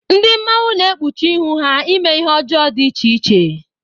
Ndị mmanwụ na-ekpuchi ihu ha eme ihe ọjọọ dị iche iche.